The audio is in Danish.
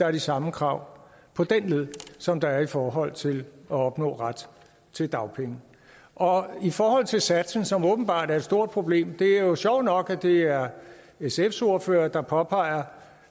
er de samme krav som der er i forhold til at opnå ret til dagpenge og i forhold til satsen som åbenbart er et stort problem er det jo sjovt nok at det er sfs ordfører der påpeger